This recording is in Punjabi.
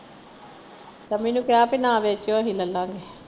ਸ਼ਮੀ ਨੂੰ ਕਿਹਾ ਕਿ ਨਾ ਵੇਚਿਓ ਅਸੀਂ ਲੱਲਾਂਗੇ।